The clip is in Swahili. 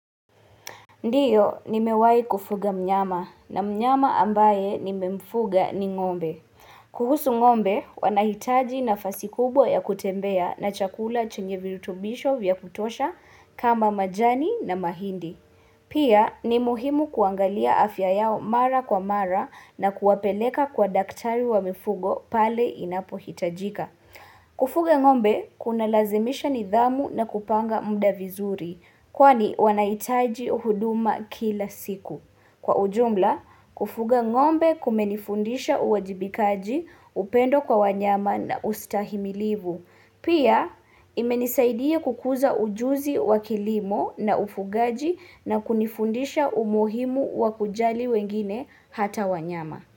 Ndiyo ni mewahi kufuga mnyama na mnyama ambae nimemfuga ni ng'ombe. Kuhusu ng'ombe wanahitaji nafasi kubwa ya kutembea na chakula chenye virutubisho vya kutosha kama majani na mahindi. Pia ni muhimu kuangalia afya yao mara kwa mara na kuwapeleka kwa daktari wa mifugo pale inapohitajika. Kufuga ng'ombe kunalazimisha nidhamu na kupanga muda vizuri kwani wanahitaji huduma kila siku. Kwa ujumla kufuga ng'ombe kumenifundisha uwajibikaji upendo kwa wanyama na ustahimilivu. Pia imenisaidia kukuza ujuzi wa kilimo na ufugaji na kunifundisha umuhimu wa kujali wengine hata wanyama.